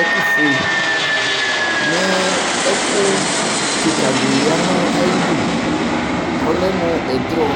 ɛƙʋ fue ;Mɛ ɛƙʋ ƙɩƙa ɖɩ lɛ nʋ aƴiɖu ƙʋ ɔlɛ mʋ ɛɖrɔ